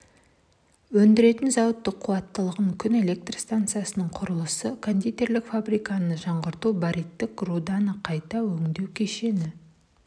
өндіретін зауыт қуаттылығы күн электр станциясының құрылысы кондитерлік фабриканы жаңғырту бариттік руданы қайта өңдеу кешені